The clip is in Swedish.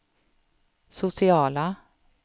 sociala